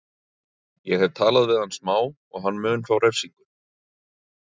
Ég hef talað við hann smá og hann mun fá refsingu.